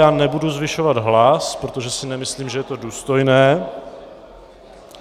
Já nebudu zvyšovat hlas, protože si nemyslím, že je to důstojné.